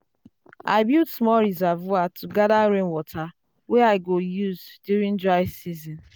i build small reservoir to gather rainwater wey i go use during dry season.